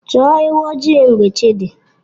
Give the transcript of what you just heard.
Chọọ ewu ojii mgbe chi dị